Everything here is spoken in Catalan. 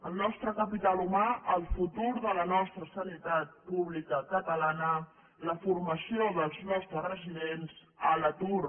el nostre capital humà el futur de la nostra sanitat pública catalana la formació dels nostres residents a l’atur